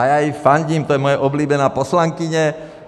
A já jí fandím, to je moje oblíbená poslankyně.